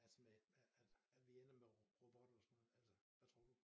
Altså med at at vi ender med robotter og sådan noget hvad tror du